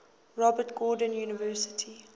robert gordon university